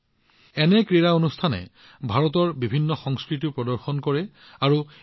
যিকি নহওক এনে ধৰণৰ খেলৰ জৰিয়তে ভাৰতৰ বিভিন্ন সংস্কৃতিৰ বিষয়ে জানিব পাৰি